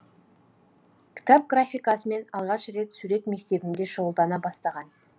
кітап графикасымен алғаш рет сурет мектебінде шұғылдана бастаған